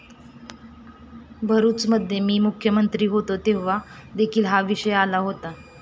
भरुचमध्ये मी जेव्हा मुख्यमंत्री होतो तेव्हा देखील हा विषय आला होता.